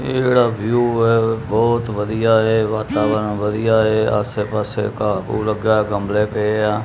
ਇਹ ਜਿਹੜਾ ਵਿਊ ਐ ਉਹ ਬਹੁਤ ਵਧੀਆ ਏ ਵਾਤਾਵਰਨ ਵਧੀਆ ਏ ਆਸੇ ਪਾਸੇ ਘਾਹ ਘੁਹ ਲੱਗਾ ਐ ਗਮਲੇ ਪਏ ਆ।